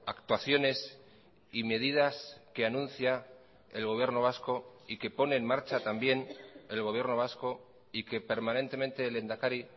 actuaciones y medidas que anuncia el gobierno vasco y que pone en marcha también el gobierno vasco y que permanentemente el lehendakari